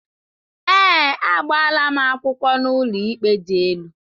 Ee, agbaala m akwụkwọ n'ụlọikpe dị elu